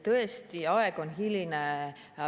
Tõesti, aeg on hiline.